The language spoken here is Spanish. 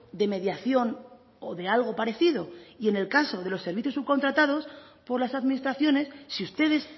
de mediación o de algo parecido y en el caso de los servicios subcontratados por las administraciones si ustedes